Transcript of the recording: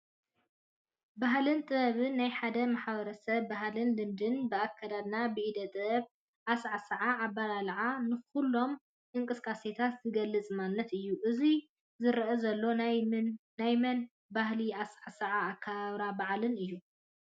ባህልን ጥበብን፡- ናይ ሓደ ማ/ሰብ ባህልን ልምድን ብኣከዳድና፣ ብኢደጥበባዊ ኣሳዓስዓ፣ ኣባላልዓን ንኹሎም እንቅስቃሴታቱን ዝገልፅ ማንነት እዩ፡፡ እዚ ዝረአ ዘሎ ናይ ምንታይ ባህላዊ ኣሰዓስዓን ኣከባብራ በዓልን እዩ?